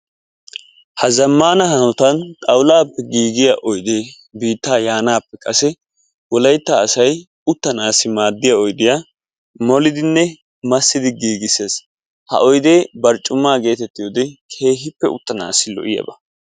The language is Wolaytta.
Ha zammana hanoattan xawullappe giigiya ode biittaa yaanappe kase wolaytta asay uttanassi maaddiya oydiyaa massidinne molidi giigissees, ha oyde barccuma getettiyoode keehippe uttanassi lo''iyaaba.